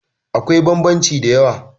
akwai bambanci da yawa